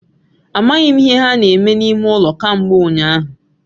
Amaghi m ihe ha na-eme n'ime ulo kambe unyahu